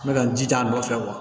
N bɛ ka n jija a nɔfɛ